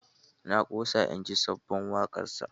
Na ƙosa inji sabon waƙarsa.